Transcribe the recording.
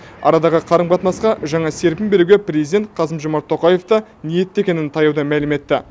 арадағы қарым қатынасқа жаңа серпін беруге президент қасым жомарт тоқаев та ниетті екенін таяуда мәлім етті